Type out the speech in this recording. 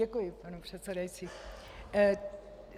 Děkuji, pane předsedající.